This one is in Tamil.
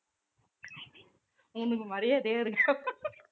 உனக்கு மரியாதையே இருக்கா~